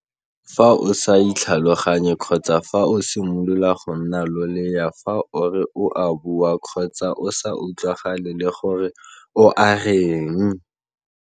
Fa o sa itlhaloganye kgotsa fa o simolola go nna loleya fa o re o a bua kgotsa o sa utlwagale le gore o a reng.